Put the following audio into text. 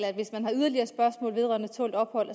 at hvis man har yderligere spørgsmål vedrørende tålt ophold